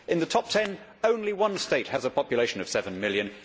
In the top ten only one state has a population of 7 million.